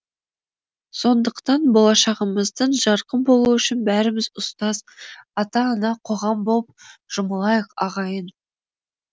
сондықтан болашағымыздың жарқын болуы үшін бәріміз ұстаз ата ана қоғам боп жұмылайық ағайын